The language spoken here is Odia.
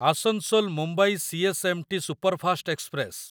Asansol Mumbai CSMT. Superfast express